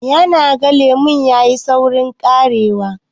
ya naga lemon ya yi saurin karewa?